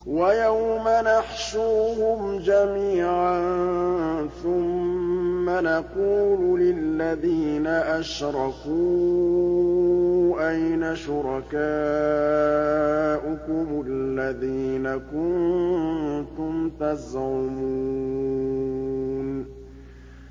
وَيَوْمَ نَحْشُرُهُمْ جَمِيعًا ثُمَّ نَقُولُ لِلَّذِينَ أَشْرَكُوا أَيْنَ شُرَكَاؤُكُمُ الَّذِينَ كُنتُمْ تَزْعُمُونَ